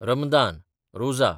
Ramadan (Rosa)